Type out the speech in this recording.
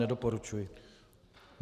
Nedoporučuji.